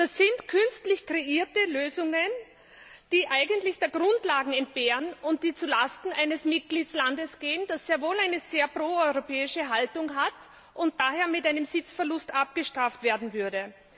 Das sind künstlich kreierte Lösungen, die eigentlich der Grundlagen entbehren und zu Lasten eines Mitgliedstaats gehen, der sehr wohl eine proeuropäische Haltung hat und daher mit einem Sitzverlust abgestraft werden würde.